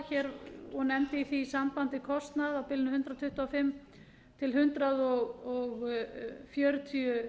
það og nefndi í því sambandi kostnað á bilinu hundrað tuttugu og fimm til hundrað fjörutíu